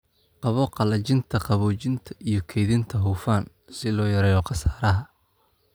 Qabo qalajinta, qaboojinta & kaydinta hufan si loo yareeyo khasaaraha."